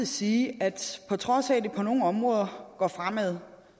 sige at på trods af at det på nogle områder går fremad